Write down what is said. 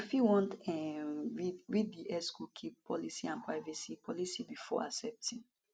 you fit wan um read read di xcookie policyandprivacy policybefore accepting